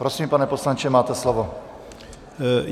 Prosím, pane poslanče, máte slovo.